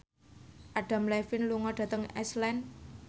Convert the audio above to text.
Adam Levine lunga dhateng Iceland